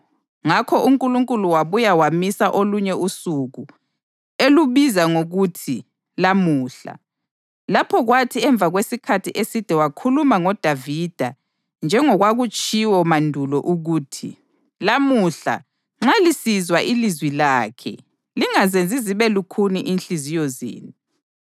Ngakho uNkulunkulu wabuya wamisa olunye usuku, elubiza ngokuthi Lamuhla, lapho kwathi emva kwesikhathi eside wakhuluma ngoDavida, njengokwakutshiwo mandulo ukuthi: “Lamuhla nxa lisizwa ilizwi lakhe, lingazenzi zibe lukhuni inhliziyo zenu.” + 4.7 AmaHubo 95.7-8